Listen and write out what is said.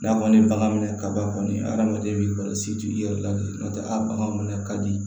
N'a kɔni ye bagan minɛ kaba kɔni hadamaden kɔni i yɛrɛ la de n'o tɛ a bagan ka di